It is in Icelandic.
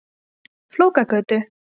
Flókagötu